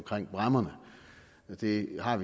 det er